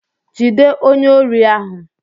Jide onye órí ahụ!